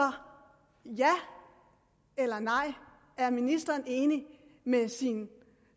ja eller nej er ministeren enig med sin